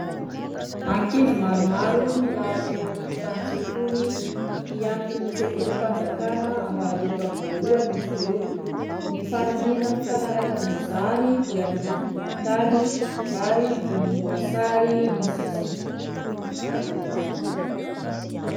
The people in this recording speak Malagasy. Ankizy maromaro milahatra eo an-tokotanin-tsekoly, mpinatry ny sekolim-panjakana ambaratonga voalohany izy ireo. Ny fanamiana mifanaraka amin'izany dia miloko volontany ary volomboasary ny sisiny.